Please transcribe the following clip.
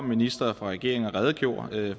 minister fra regeringen og redegjorde